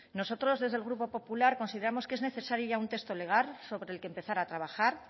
nosotros desde el grupo popular consideramos que es necesario ya un texto legal sobre el que empezar a trabajar